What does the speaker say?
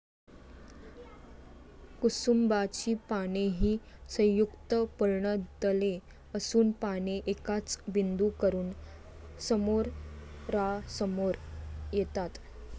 कुसुम्बाची पाने ही संयुक्त पर्णदले असून पाने एकाच बिंदू वरून समोरासमोर येतात.